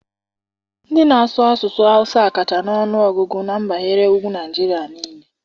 Ndị na-asụ asụsụ hausa kacha na ọnụ ọgụgụ n'mpaghara ugwu Naịjirịa niile